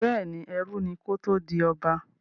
Bẹ́ẹ̀ni, ẹrú ni kó tó di ọba.